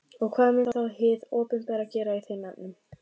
Og hvað mun þá hið opinbera gera í þeim efnum?